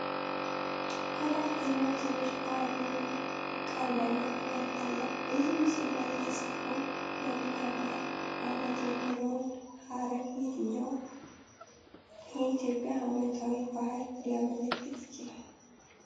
ከታች ደግሞ ትንሽ “በዓል” የሚል ቃል በአማርኛ ይታያል። በዚህ ምስል ላይ የተጻፈው "መልካም ዓመት" የሚለው ሐረግ የትኛውን የኢትዮጵያ ዓመታዊ በዓል ሊያመለክት ይችላል?